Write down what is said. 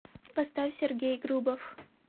поставь сергей грубов